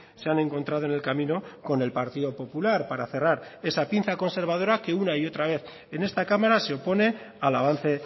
se han encontrado en el camino con el partido popular para cerrar esa pinza conservadora que una y otra vez en esta cámara se opone al avance